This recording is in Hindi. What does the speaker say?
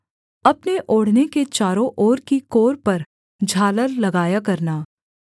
अपने ओढ़ने के चारों ओर की कोर पर झालर लगाया करना